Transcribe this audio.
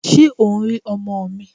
Ṣé o ń rí ọmọ mi?